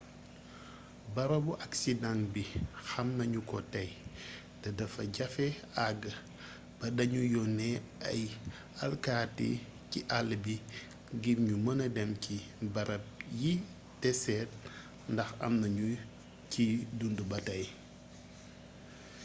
barabu aksidaŋ bi xam nañ ko tey te dafa jafe àgg ba da ñu yónnee ay alkati ci àll bi ngir ñu mëna dem ci barab yi te seet ndax am na ñu ciy dundu ba tey